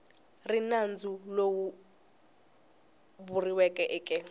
ri nandzu lowu vuriweke eke